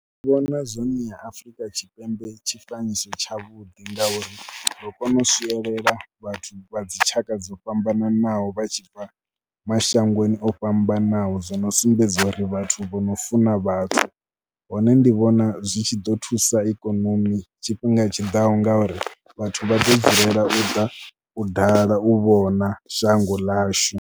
Ndi vhona zwo no ṋea Afrika Tshipembe tshifanyiso tshavhuḓi ngauri ro kona u swielela vhathu vha dzi tshaka dzo fhambananaho vha tshi bva mashangoni o fhambanaho. Zwino uri vhathu vho no funa vhathu, hone ndi vhona zwi tshi ḓo thusa ikonomi tshifhinga tshiḓaho ngauri vhathu vha ḓo dzulela u ḓa u dala, u vhona shango ḽashu.